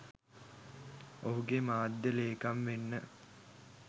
ඔහුගේ මාධ්‍ය ලේකම් වෙන්න